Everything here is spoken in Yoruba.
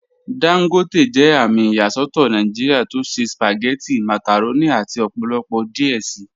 Dangote jẹ àmì ìyàsọ̀tọ̀ Nàìjíríà tó ṣẹ̀ spagẹ̀tí, màkàrọ̀nì àti ọ̀pọ̀lọpọ̀ díẹ̀ sí."